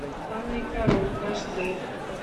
анна и король аш д